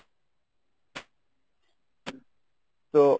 তো।